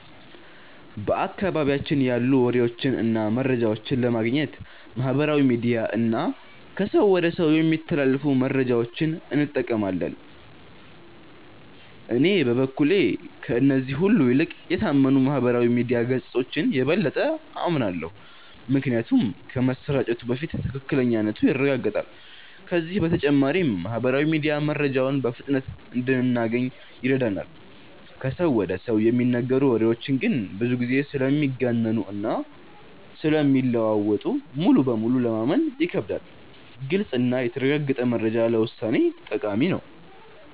በአካባቢያችን ያሉ ወሬዎችን እና መረጃዎችን ለማግኘት ማህበራዊ ሚዲያ እና ከሰው ወደ ሰው የሚተላለፉ መረጃዎችን እንጠቀማለን። እኔ በበኩሌ ከእነዚህ ሁሉ ይልቅ የታመኑ የማህበራዊ ሚዲያ ገጾችን የበለጠ አምናለሁ። ምክንያቱም ከመሰራጨቱ በፊት ትክክለኛነቱ ይረጋገጣል፤ ከዚህ በተጨማሪም ማህበራዊ ሚዲያ መረጃውን በፍጥነት እንድናገኝ ይረዳናል። ከሰው ወደ ሰው የሚነገሩ ወሬዎች ግን ብዙ ጊዜ ስለሚጋነኑ እና ስለሚለዋወጡ ሙሉ በሙሉ ለማመን ይከብዳሉ። ግልጽ እና የተረጋገጠ መረጃ ለውሳኔ ጠቃሚ ነው።